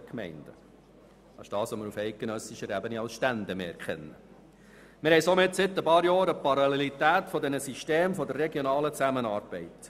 Seit einigen Jahren haben wir somit eine Parallelität dieser Systeme für die regionale Zusammenarbeit.